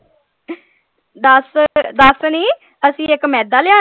ਦੱਸ ਦੱਸ ਨੀ ਅਸੀਂ ਇਕ ਮੈਦਾ ਲਿਆਉਣਾ।